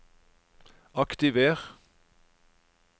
aktiver